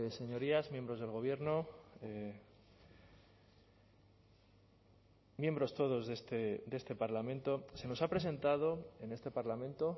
señorías miembros del gobierno miembros todos de este parlamento se nos ha presentado en este parlamento